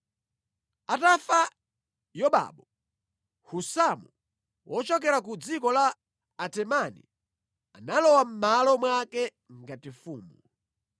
Atafa Yobabu, Husamu wochokera ku dziko la Atemani, analowa mʼmalo mwake ngati mfumu.